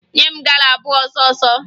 Nye m gala abụọ ọsọọsọ!